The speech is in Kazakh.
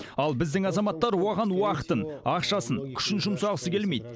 ал біздің азаматтар оған уақытын ақшасын күшін жұмсағысы келмейді